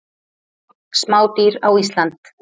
Smádýr á Ísland.